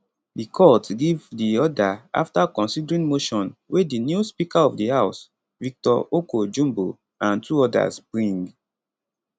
di court give di order afta considering motion wey di new speaker of di house victor oko jumbo and two odas bring